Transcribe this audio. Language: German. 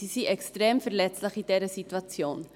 Sie sind extrem verletzlich in dieser Situation.